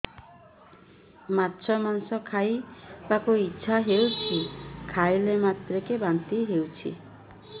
ମାଛ ମାଂସ ଖାଇ ବାକୁ ଇଚ୍ଛା ହଉଛି ଖାଇଲା ମାତ୍ରକେ ବାନ୍ତି ହେଇଯାଉଛି